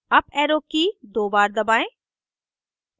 up arrow की key दो बार दबाएं